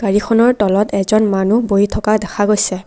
এইখনৰ তলত এজন মানু্হ বহি থকা দেখা গৈছে।